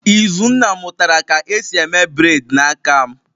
Izunna mutara ka esi eme bred n'aka m